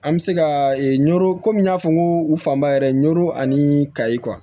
An bɛ se ka nɔrɔ komi n y'a fɔ n ko u fanba yɛrɛ ani kayi kuwa